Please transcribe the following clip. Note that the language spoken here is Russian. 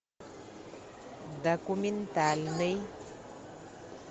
документальный